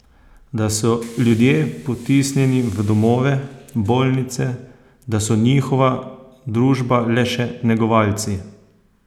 Da so ljudje potisnjeni v domove, bolnice, da so njihova družba le še negovalci?